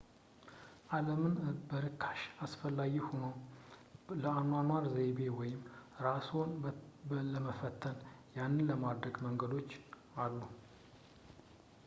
ዓለምን በርካሽ አስፈላጊ ሆኖ ለአኗኗር ዘይቤ ወይም እራስዎን ለመፈተን ያንን ለማድረግ መንገዶች አሉ